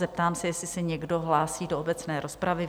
Zeptám se, jestli se někdo hlásí do obecné rozpravy?